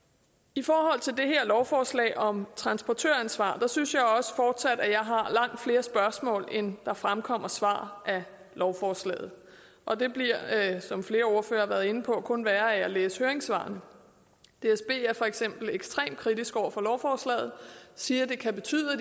i forhold til det her lovforslag om transportøransvar synes jeg også fortsat at jeg har langt flere spørgsmål end der fremkommer svar af lovforslaget og det bliver som flere ordførere har været inde på kun værre af at læse høringssvarene dsb er for eksempel ekstremt kritiske over for lovforslaget og siger at det kan betyde at